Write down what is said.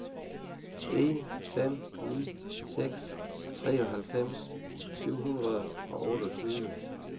en fem ni seks treoghalvfems syv hundrede og otteogtyve